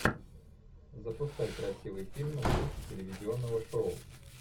запускай красивый фильм в духе телевизионного шоу